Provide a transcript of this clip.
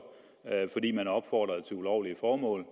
fordi man opfordrede til ulovlige formål